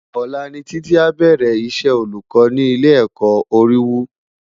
Ólà ni Titi ábèrè Isè ólúkò ni Ilé èkò Óriwú